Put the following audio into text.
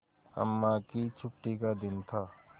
अम्मा की छुट्टी का दिन था